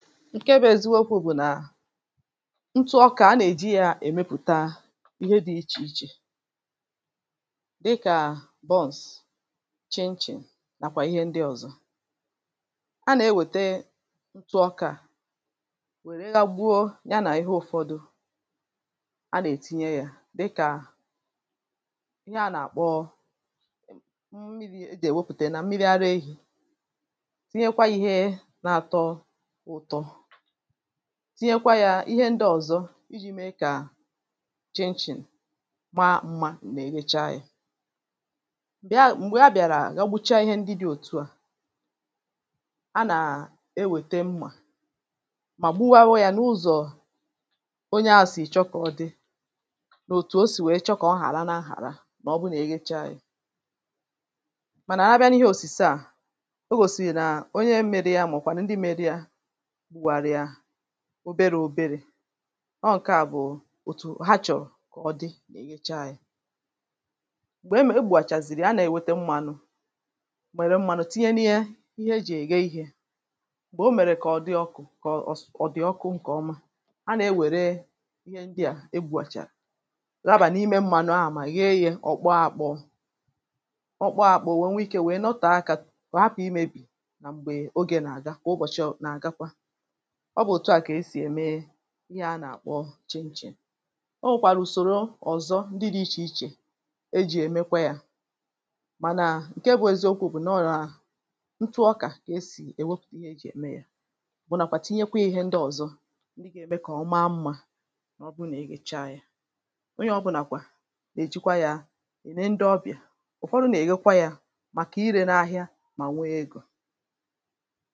nkè bụ̇ èzikwu okwu̇ bụ̀ nà ntu ọkà a nà-èji yȧ èmepụ̀ta ihe dị̇ ichè ichè dịkà buns chinchin nàkwà ihe ndị ọ̀zọ a nà-ewète ntu ọkà wèrè ịgha gbuo ya nà ihe ụ̀fọdụ a nà-ètinye yȧ dịkà ihe a nà-àkpọ mmiri̇ ejì èwepùtè nà mmiri ara ehi̇ tinye kwa yȧ ihe ndị ọ̀zọ iji̇ mee kà chinchin maa mmȧ nà-èrecha yȧ m̀bèa m̀gbè a bị̀àrà gaọbucha ihe ndị dị̇ òtu à a nà-ewète mmȧ mà gbuwa ụọ̇ yȧ n’ụzọ̀ onye a sì chọkọ̀dị nà òtù o sì wèe chọkọ̀ ọ hàra nà ahàra mà ọ bụ nà eghecha yȧ mànà àrịabịa n’ihe òsìse à ogòsìrì nà onye m̀mere ya mà ọ̀kwàrà ndị m̀mere ya oberė oberė ọ ọkụ̇ ǹke à bụ̀ òtù ha chọ̀rọ̀ kà ọ dị na-eghecha yȧ m̀gbè m̀egbàchàzìrì a nà-ewete m̀manụ̀ mèrè m̀manụ̀ tinye n’ihe ihe ejì ège ihė bụ̀ o mèrè kà ọ dị ọkụ̇ kà ọ s ọ dị̀ ọkụ ǹkè ọma a nà-ewère ihe ndị à egbùàchàrà raabà n’ime m̀manụ ahà mà yiyė ọ̀ kpọọ akpọ̇ ọ̀ kpọọ akpọ̇ nwèe nwee ikė nwèe nọtọ̀ aka kọ̀ hapụ̀ imėbì nà m̀gbè oge nà-àga kà ụbọ̀chị̇ na-àgakwa ọ bụ̀ òtù a kà esì ème ihe a nà-àkpọ chin-chinè o wèkwàrà ùsòrò ọ̀zọ ndị dị̇ ichè ichè ejì èmekwa yȧ mànà ǹke bụ̇ eziokwu̇ bụ̀ nà ọlà ntụ ọkà kà esì èwopùtù ihe ejì ème yȧ bụ̀ nàkwà tinyekwa ihe ndị ọ̀zọ ndị gà-ème kà ọma mmȧ ọ bụ nà-ègècha yȧ onye ọbụnàkwà nà-èjikwa yȧ ène ndị ọbịà ụ̀fọdụ nà-èghekwa yȧ màkà irė na ahịa mà nwee egȯ